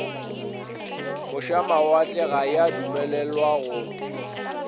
mošamawatle ga ya dumelelwa go